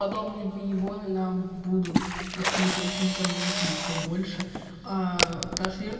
подобные выебоны нам будут отключать интернет ещё больше аа ташер